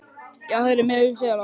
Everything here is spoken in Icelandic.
Já heyrðu, mér líst vel á það!